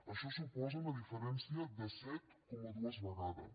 això suposa la diferència de set coma dos vegades